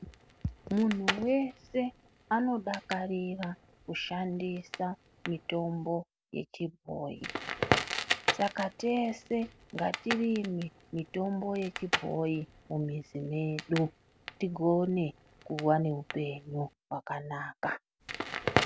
Munhu wese anodakarira kushandisa mitombo yechibhoyi. Saka tese ngatirime mitombo yechibhoyi mumizi mwedu, tigone kuva neupenyu hwakanaka.